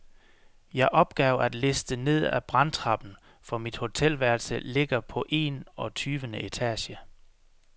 Jeg opgav at liste ned ad brandtrappen, for mit hotelværelse ligger på en og tyvende etage.